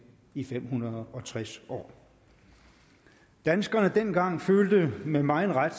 i fem hundrede og tres år danskerne dengang følte med megen ret